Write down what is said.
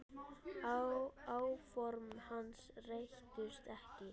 Áform hans rættust ekki.